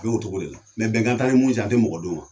A b'o cogo de la, mɛ bɛnkan t'ani minnu fɛ, an tɛ mɔgɔ d'o ma.